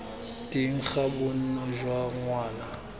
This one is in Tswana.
teng ga bonno jwa ngwana